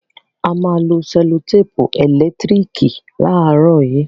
A má a lo sẹ́lòtèpù ẹ̀lẹ́tírìkì láàrọ̀ yìí.